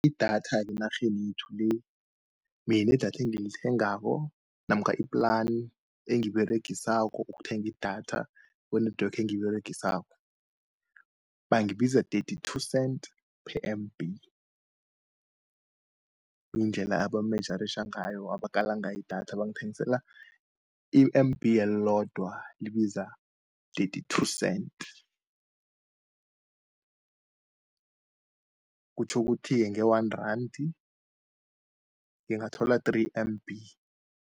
Idatha enarheni yekhethu le, mina idatha engilithengako, namkha i-plani engiyiberegisako ukuthenga idatha kwe-network engiyiberegisako. Bangibiza thirty-two cent per M_B, kungendlela abamejaritjha ngayo, abakala ngayo idatha. Bangithengisela i-M_B elodwa libiza thirty-two cent, kutjho ukuthi nge-one randI ngingathola three M_B.